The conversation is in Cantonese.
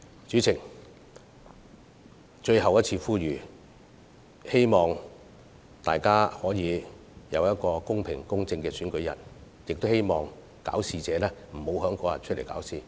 主席，且讓我作最後一次呼籲：我希望大家能有一個公平公正的選舉日，亦希望搞事者不要在當天出來搞事。